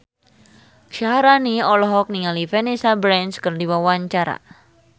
Syaharani olohok ningali Vanessa Branch keur diwawancara